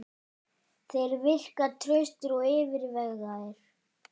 Þeir virka traustir og yfirvegaður.